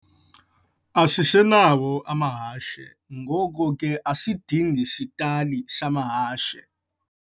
Asisenawo amahashe, ngoko ke asidingi sitali samahashe.